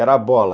Era a bola.